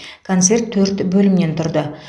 концерт төрт бөлімнен тұрды